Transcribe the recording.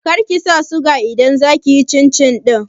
Kar kisa suga idan za kiyi cin cin ɗin